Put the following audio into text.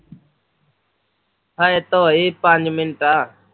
ਹਜੇ ਤਾਂ ਹੋਏ ਪੰਜ ਮਿੰਟ ਐ